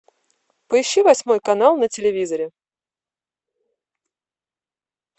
поищи восьмой канал на телевизоре